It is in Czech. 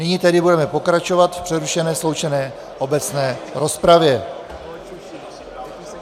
Nyní tedy budeme pokračovat v přerušené sloučené obecné rozpravě.